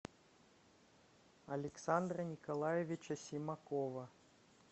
александра николаевича симакова